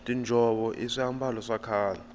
tinjhovo i swiambalo swa khale